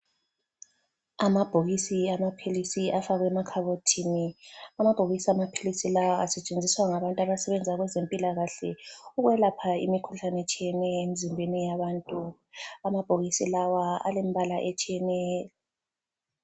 Amabhokisi amaphilisi afakwe emakhabothini. Amabhokisi amaphilisi lawa asetshenziswa ngabantu abasebenza kwezempilakahle ukwelapha imikhuhlane etshiyeneyo emzimbeni yabantu. Amabhokisi lawa alembala etshiyeneyo.